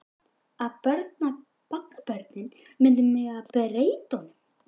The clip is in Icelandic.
Að barnabörnin myndu megna að breyta honum.